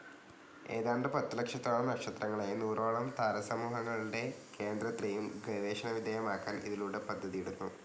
ഏതാണ്ട് പത്തുലക്ഷത്തോളം നക്ഷത്രങ്ങളേയും നൂറോളം താരാസമൂഹങ്ങളുടെ കേന്ദ്രത്തേയും ഗവേഷണവിധേയമാക്കാൻ ഇതിലൂടെ പദ്ധതിയിടുന്നു.